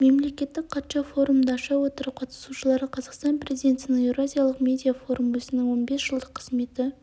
мемлекеттік хатшы форумды аша отырып қатысушыларға қазақстан президентінің еуразиялық медиа форум өзінің он бес жылдық қызметі